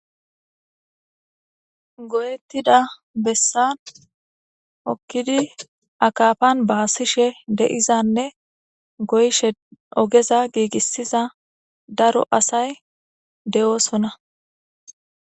goyettida bessan hokkidi akafan baasishe de7izanne goyshe ogeza giigissiza daro asay de7oosona